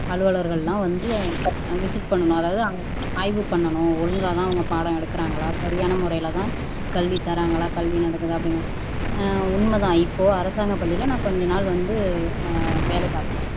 அலுவலர்கள் எல்லாம் வந்து விசிட் பண்ணனும் அதாவது ஆய்வு பண்ணனும் ஒழுங்காதான் பாடம் எடுக்கிறாங்களா சரியான முறையில்தான் கல்வி தராங்களா கல்வி நடக்குதா அப்படிங்கிறது அஹ் உண்மைதான் இப்போ அரசாங்க பள்ளியில நான் கொஞ்ச நாள் வந்து வேலை பார்த்தேன்